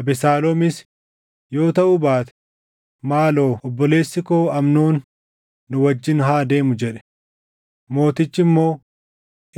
Abesaaloomis, “Yoo taʼuu baate, maaloo obboleessi koo Amnoon nu wajjin haa deemu” jedhe. Mootichi immoo,